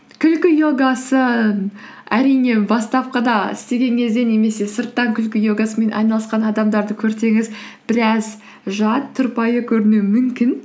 күлкі йогасы әрине бастапқыда істеген кезде немесе сырттан күлкі йогасымен айналысқан адамдарды көрсеңіз біраз жат тұрпайы көрінуі мүмкін